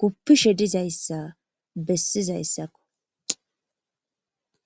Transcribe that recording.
guppishe dizayssa bessizayssakko